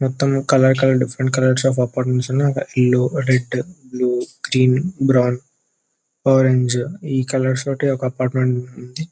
మొత్తం colour colour different colours of లో apartment ఉన్నాయి అక్కడ ఇల్లు red blue green brown orange ఈ కలర్ తోని ఒక అపార్ట్మెంట్ ఉంది .